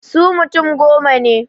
Su mutum goma ne.